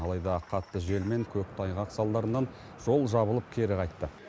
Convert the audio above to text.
алайда қатты жел мен көктайғақ салдарынан жол жабылып кері қайтты